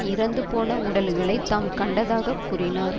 இறந்து போன உடல்களை தாம் கண்டதாகக் கூறினார்